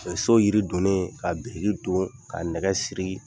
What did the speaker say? so yiri donnen ka biriki don ka nɛgɛ siri.